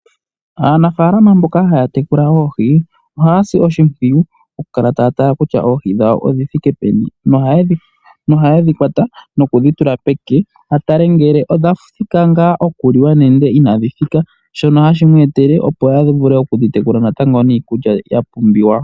Aanafalama mboka haya tekula oohi ohaya si oshimpwiyu oku kala taya tala kutya oohi dhawo odhi thike peni, nohaye dhi kwata nokudhi tula peke a tale ngele odha thika ngaa oku liwa nende inadhi thika. Shono hashi mu etele opo a vule okudhi tekula natango niikulya yapumbiwa.